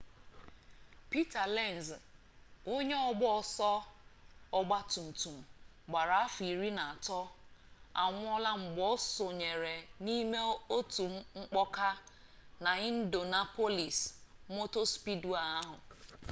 peter lenz onye ọgba ọsọ ọgba tum tum gbara afọ iri na atọ anwụọla mgbe o sonyere n'ime otu mkpọka na indianapolis motor speedway ahụ